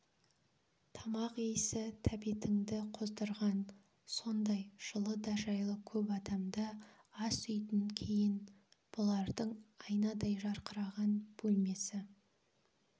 тамақ иісі тәбетіңді қоздырған сондай жылы да жайлы көп адамды асүйдн кейін бұлардың айнадай жарқыраған бөлмесі